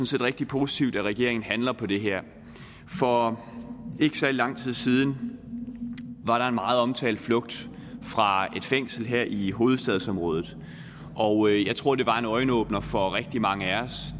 set rigtig positivt at regeringen handler på det her for ikke særlig lang tid siden var der en meget omtalt flugt fra et fængsel her i hovedstadsområdet og jeg tror det var en øjenåbner for rigtig mange af os